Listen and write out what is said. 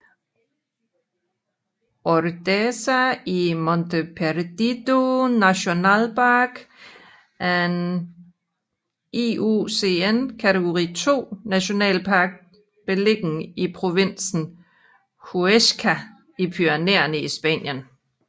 Ordesa y Monte Perdido National Park er en IUCN kategori II nationalpark beliggende i provinsen Huesca i Pyrenæerne i Spanien